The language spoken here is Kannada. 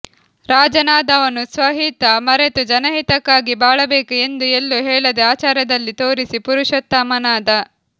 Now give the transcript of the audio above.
ರಾಜನಾದವನು ಸ್ವಹಿತ ಮರೆತು ಜನಹಿತಕ್ಕಾಗಿ ಬಾಳಬೇಕು ಎಂದು ಎಲ್ಲೂ ಹೇಳದೆ ಆಚಾರದಲ್ಲಿ ತೋರಿಸಿ ಪುರುಷೋತ್ತಮನಾದ